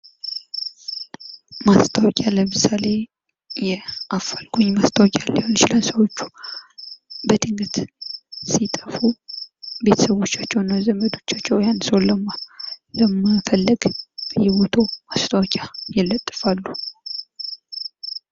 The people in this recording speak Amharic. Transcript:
ማስታወቂያ ለምሳሌ የአፋልጉኝ ማስታወቂያ ሊሆን ይችላል ሰዎቹ በድንገት ሲጠፉ ቤተሰቦቻቸው እና ዘመዶቻቸው ያህን ሰው ለመፈለግ በእየቦታው ማስታወቂያ ይለጥፋሉ ።